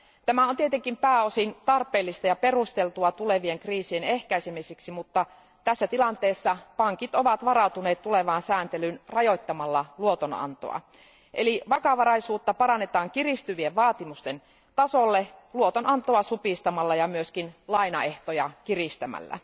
Tämä on tietenkin pääosin tarpeellista ja perusteltua tulevien kriisien ehkäisemiseksi, mutta tässä tilanteessa pankit ovat varautuneet tulevaan sääntelyyn rajoittamalla luotonantoa, eli vakavaraisuutta parannetaan kiristyvien vaatimusten tasolle luotonantoa supistamalla ja myös lainaehtoja kiristämällä.